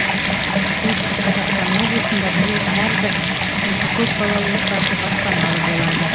солтүстік қазақстан облысында биыл әр бір үшінші көп балалы отбасы баспаналы болады